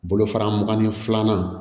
Bolofara mugan ni filanan